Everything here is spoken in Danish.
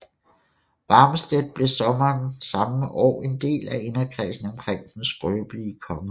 Warnstedt blev sommeren samme år en del af inderkredsen omkring den skrøbelige konge